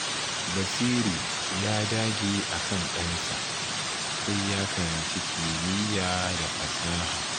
Basiru ya dage akan ɗansa sai ya karanci kimiyya da fasaha.